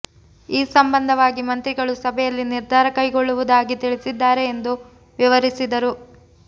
ಈ ಸಂಬಂಧವಾಗಿ ಮಂತ್ರಿಗಳು ಸಭೆಯಲ್ಲಿ ನಿರ್ಧಾರ ಕೈಗೊಳ್ಳುವುದಾಗಿ ತಿಳಿಸಿದ್ದಾರೆ ಎಂದು ವಿವರಿಸಿದರು